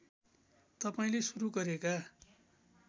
तपाईँले सुरू गरेका